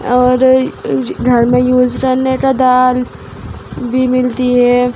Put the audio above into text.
और यू घर में यूज करने का दाल भी मिलती है।